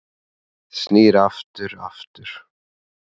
Snýr aftur aftur